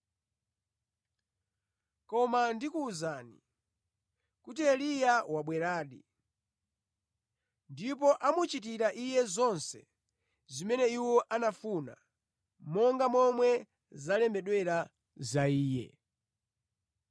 Koma ndikuwuzani, kuti Eliya wabweradi, ndipo amuchitira iye zonse zimene iwo anafuna, monga momwe zalembedwera za iye.”